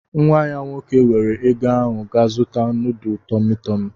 Nwa ya nwoke weere ego ahụ gaa zuta nudu TumuTumu.